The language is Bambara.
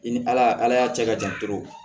I ni ala ala y'a cɛ ka jan